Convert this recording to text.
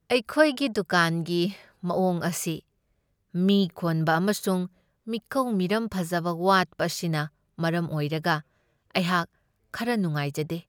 ꯑꯩꯈꯣꯏꯒꯤ ꯗꯨꯀꯥꯟꯒꯤ ꯃꯑꯣꯡ ꯑꯁꯤ ꯃꯤ ꯈꯣꯟꯕ ꯑꯃꯁꯨꯡ ꯃꯤꯀꯧ ꯃꯤꯔꯝ ꯐꯖꯕ ꯋꯥꯠꯄ ꯑꯁꯤꯅ ꯃꯔꯝ ꯑꯣꯏꯔꯒ ꯑꯩꯍꯥꯛ ꯈꯔ ꯅꯨꯡꯉꯥꯏꯖꯗꯦ꯫